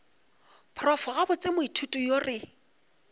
prof gabotse moithuti yo re